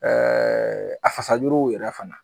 a fasajuruw yɛrɛ fana.